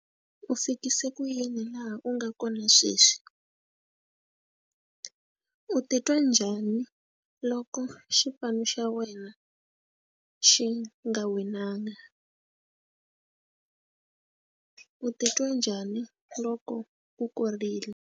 U fikise ku yini laha u nga kona sweswi u titwa njhani loko xipano xa wena xi nga winanga u titwa njhani loko u korile.